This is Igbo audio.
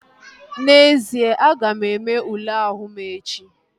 N'ezie, aga m eme ule ahụ m echi